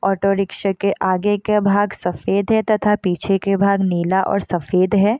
Auto rickshaw के आगे का भाग सफेद है तथा पीछे के भाग नीला और सफेद है।